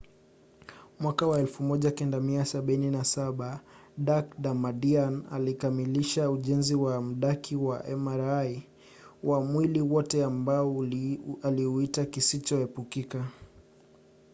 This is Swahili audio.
mwaka wa 1977 dak. damadian alikamilisha ujenzi wa mdaki wa mri wa mwili wote ambao aliuita kisicho epukika